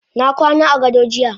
Nakwana agado jiya.